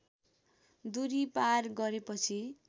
दूरी पार गरेपछि